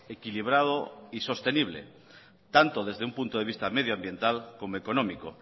equilibrado y sostenible tanto desde un punto de vista medioambiental como económico